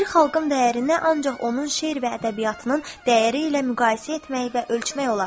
Bir xalqın dəyərini ancaq onun şərir və ədəbiyyatının dəyəri ilə müqayisə etmək və ölçmək olar.